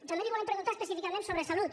també li volem preguntar específicament sobre salut